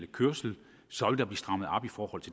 kørsel så